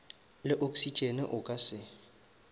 le oksitšene o ka se